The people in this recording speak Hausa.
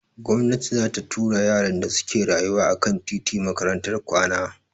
Gomnati za ta tura yaran da suke rayuwa a kan titi Makarantar kwana.